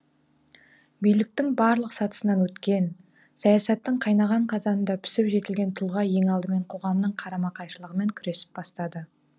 биліктің барлық сатысынан өткен саясаттың қайнаған қазанында пісіп жетілген тұлға ең алдымен қоғамның қарама қайшылығымен күресіп бастады